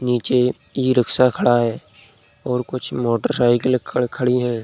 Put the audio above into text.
नीचे इ-रिक्शा खड़ा है और कुछ मोटरसाइकिलें खड़ खड़ी हैं।